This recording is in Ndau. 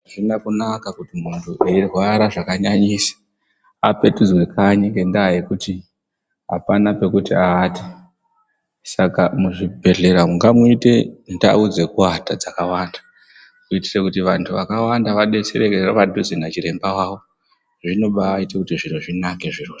Hazvina kunaka kuti muntu eirwara zvakanyanyisa apetudzwe kanyi ngendaa yekuti hapana pekuti aate. Saka muzvibhedhlera umu ngamuite ndau dzekuata dzakawanda. Kuitire kuti vantu vakawanda vabetsererwe padhuze nachiremba vavo zvinobaite kuti zviro zvinake zvirozvo.